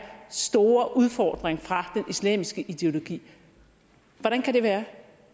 store udfordring fra den islamiske ideologi hvordan kan det være